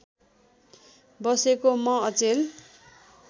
बसेको म अचेल